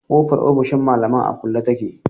Kofar ofishin malaman a kulle take.